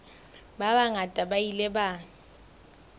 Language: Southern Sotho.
ba bangata ba ile ba